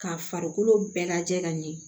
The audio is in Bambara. Ka farikolo bɛɛ lajɛ ka ɲɛ